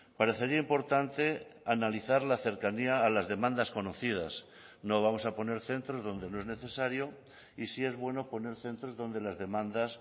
parecería importante analizar la cercanía a las demandas conocidas no vamos a poner centros donde no es necesario y sí es bueno poner centros donde las demandas